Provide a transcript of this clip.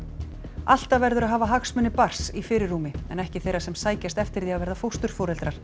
alltaf verður að hafa hagsmuni barns í fyrirrúmi en ekki þeirra sem sækjast eftir því að verða fósturforeldrar